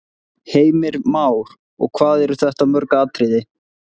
Heimir Már: Og hvað eru þetta mörg atriði?